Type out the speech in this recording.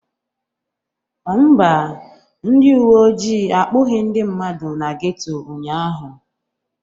Mba, ndị uwe ojii akpụghị ndị mmadụ na geto ụnyaahụ.